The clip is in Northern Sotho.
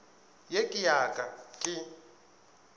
ye ke ya ka ke